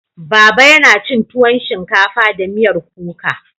Baba yana cin tuwon shinkafa da miyar kuka.